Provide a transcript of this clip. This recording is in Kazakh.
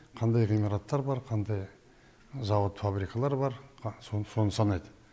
қандай ғимараттар бар қандай завод фабрикалар бар соны санайды